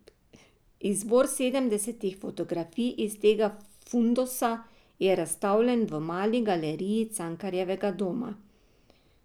Izbor sedemdesetih fotografij iz tega fundusa je razstavljen v Mali galeriji Cankarjevega doma.